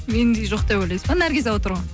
мендей жоқ деп ойлайсыз ба наргиза отыр ғой